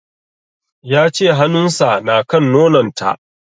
Ya ce hanun sa na kan nonon ta